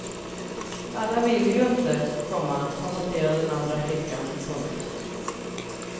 Alla vill ju inte, komma konstaterar den andra flickan. punkt